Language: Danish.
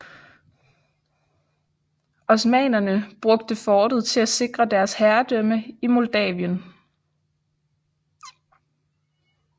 Osmannerne brugte fortet til at sikre deres herredømme i Moldavien